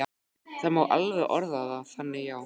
Það má alveg orða það þannig, já.